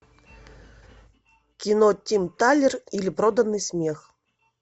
кино тим талер или проданный смех